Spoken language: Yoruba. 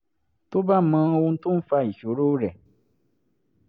tó bá mọ ohun tó ń fa ìṣòro rẹ̀